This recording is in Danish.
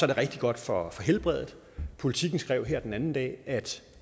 det rigtig godt for helbredet politiken skrev her den anden dag at